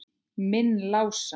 Minn Lása?